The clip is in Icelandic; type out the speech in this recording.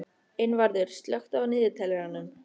Einvarður, slökktu á niðurteljaranum.